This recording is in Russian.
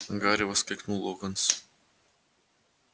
гарри воскликнул локонс